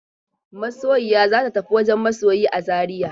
Masoyiya za ta tafi wajen masoyi a Zariya.